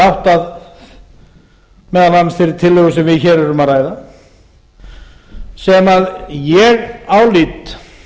átt að meðal annars þeirri tillögu sem við hér erum að ræða sem ég lít